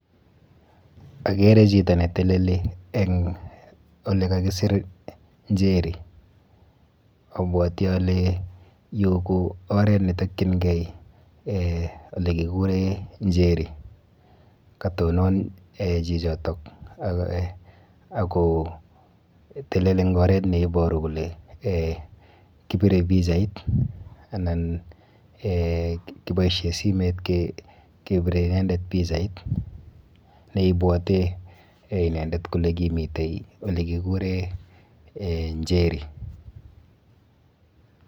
Akere chito ne teleli eng ole kakisir Njeri, abwati ale yu ko oret netokyinkei ole kikure Njeri, katonon chichitok ak kotelel eng oret neiboru kole kibire pichait anan kiboisie simet kebire inendet Pichait neibwote inendet kole kimite ole kikure Njeri.